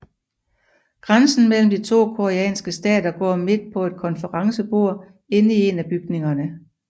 Grænsen mellem de to koreanske stater går midt på et konferencebord inde i en af bygningerne